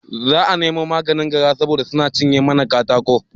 Zamu nemo maganin gara saboda suna cinye mana katako